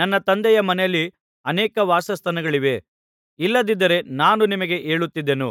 ನನ್ನ ತಂದೆಯ ಮನೆಯಲ್ಲಿ ಅನೇಕ ವಾಸಸ್ಥಾನಗಳಿವೆ ಇಲ್ಲದಿದ್ದರೆ ನಾನು ನಿಮಗೆ ಹೇಳುತ್ತಿದ್ದೆನು